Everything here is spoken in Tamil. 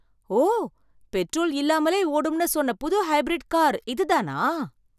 ஓ! பெட்ரோல் இல்லாமலே ஓடும்னு சொன்ன புது ஹைபிரிட் கார், இதுதானா?